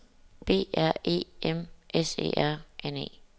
B R E M S E R N E